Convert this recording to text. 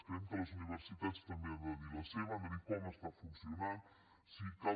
creiem que les universitats també hi han de dir la seva han de dir com està funcionant si cal